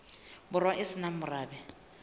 borwa e se nang morabe